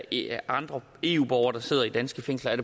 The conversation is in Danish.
eller andre eu borgere der sidder i danske fængsler er